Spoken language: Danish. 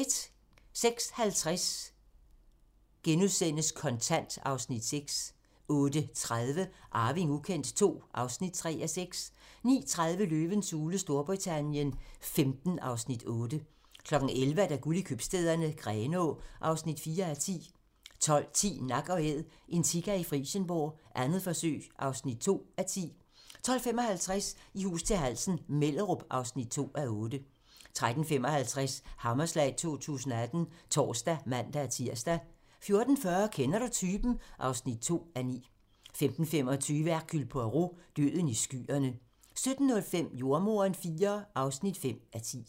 06:50: Kontant (Afs. 6)* 08:30: Arving ukendt II (3:6) 09:30: Løvens hule Storbritannien XV (Afs. 8) 11:00: Guld i købstæderne - Grenaa (4:10) 12:10: Nak & Æd - en sika i Frijsenborg, 2. forsøg (2:10) 12:55: I hus til halsen - Mellerup (2:8) 13:55: Hammerslag 2018 (tor og man-tir) 14:40: Kender du typen? (2:9) 15:25: Hercule Poirot: Døden i skyerne 17:05: Jordemoderen IV (5:10)